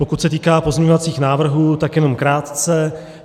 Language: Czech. Pokud se týká pozměňovacích návrhů, tak jenom krátce.